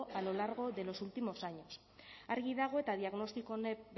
a lo largo de los últimos años argi dago eta diagnostiko honek